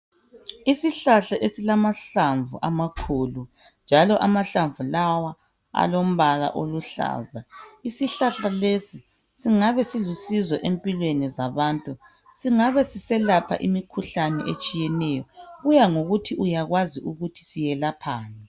Isihlahla esilamahlamvu amakhulu njalo Isihlahla lesi silamahlamvu amakhulu isihlahla lesi singabe silusizo empilweni zabantu singabe selapha imikhuhlene etshiyeneyo kuyangokuthi uyakwazi yini ukuthi siyelaphani